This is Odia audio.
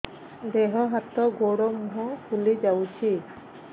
ଦେହ ହାତ ଗୋଡୋ ମୁହଁ ଫୁଲି ଯାଉଛି